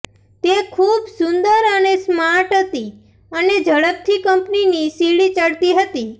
તે ખૂબ સુંદર અને સ્માર્ટ હતી અને ઝડપથી કંપનીની સીડી ચડતી હતી